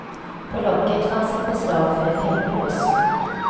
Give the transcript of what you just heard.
På locket fanns ett beslag för ett hänglås.